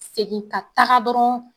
Segin ka taga dɔrɔn